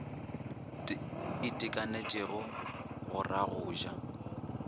itekanetšego go ra go ja